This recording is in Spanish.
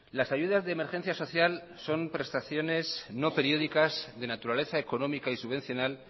las ayudas de emergencia social son prestaciones no periódicas de naturaleza económica y subvencional